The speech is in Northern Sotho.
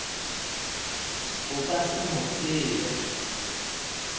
o ka se mo tsebe